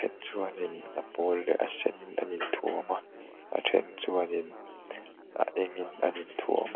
chuan in a pawl leh a sen in an in thuam a a then chuanin a eng in an in thuam a.